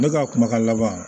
Ne ka kuma laban